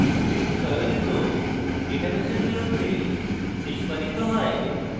script চয়নিত database এর বিরুদ্ধে নিস্পাদিত হয়